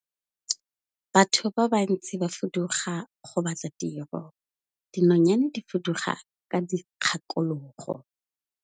Batho ba bantsi ba fuduga go batla tiro, dinonyane di fuduga ka dikgakologo.